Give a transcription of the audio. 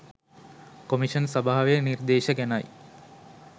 commission සභාවේ නිර්දේශ ගැනයි